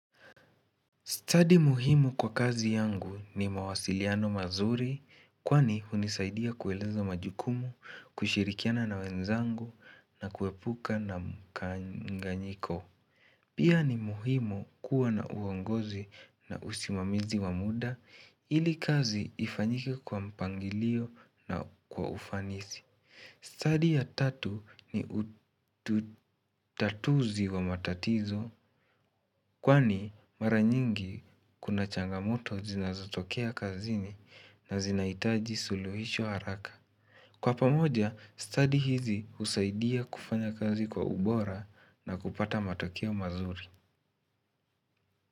Study muhimu kwa kazi yangu ni mawasiliano mazuri kwani hunisaidia kueleza majukumu, kushirikiana na wenzangu na kuepuka na mkanganyiko. Pia ni muhimu kuwa na uongozi na usimamizi wa muda ili kazi ifanyike kwa mpangilio na kwa ufanisi. Study ya tatu ni utatuzi wa matatizo kwani mara nyingi kuna changamoto zinazotokea kazini na zinahitaji suluhisho haraka. Kwa pamoja, study hizi husaidia kufanya kazi kwa ubora na kupata matokeo mazuri.